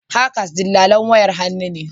Hawkers dillalin wayar hannu ne